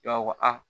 I b'a fɔ ko aa